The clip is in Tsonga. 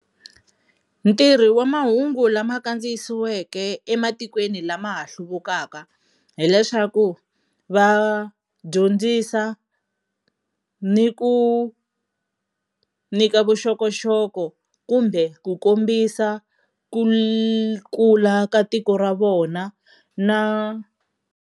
Ntirho wa mahungu lama kandziyisiweke ematikweni lama ha hluvukaka hi leswaku, va dyondzisa ni ku nyika vuxokoxoko kumbe ku kombisa ku ku kula ka tiko ra vona na.